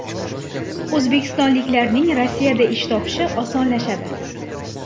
O‘zbekistonliklarning Rossiyada ish topishi osonlashadi.